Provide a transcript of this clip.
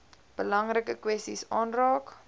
belangrike kwessies aanraak